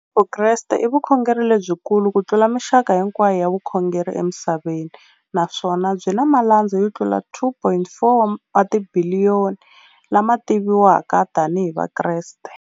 Vukreste i vukhongeri lebyi kulu kutlula mixaka hinkwayo ya vukhongeri emisaveni, naswona byi na malandza yo tlula 2.4 wa tibiliyoni, la ma tiviwaka tani hi Vakreste.